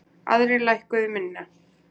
Aðrir lækkuðu minna.